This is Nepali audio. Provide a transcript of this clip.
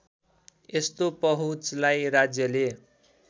यस्तो पहुँचलाई राज्यले